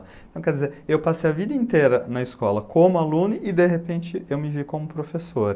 Quer dizer, eu passei a vida inteira na escola como aluno e de repente eu me vi como professor.